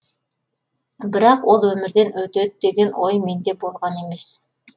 бірақ ол өмірден өтеді деген ой менде болған емес